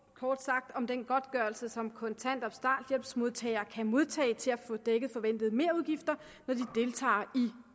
kort sagt om den godtgørelse som kontanthjælps og starthjælpsmodtagere kan modtage til at få dækket forventede merudgifter når de deltager i